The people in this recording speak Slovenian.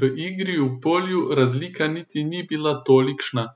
V igri v polju razlika niti ni bila tolikšna,